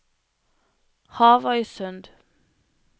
Havøysund